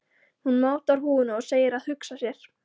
Hún mátar húfuna og segir að hugsa sér.